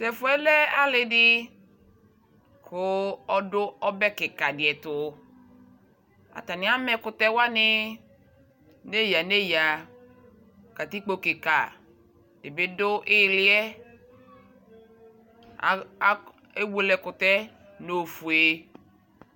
T'ɛfʋɛ lɛ alɩdɩ kʋ ɔdʋ ɔbɛ kɩkadɩ ɛtʋ ; atanɩ am'ɛkʋtɛwanɩ neyǝ neyǝ Katikpo kikadɩ bɩ dʋ ɩɩlɩɛ; a a ewele ɛkʋtɛɛ n'ofue